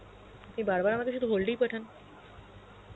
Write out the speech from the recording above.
আপনি বার বার আমায় সুধু hold এই পাঠান.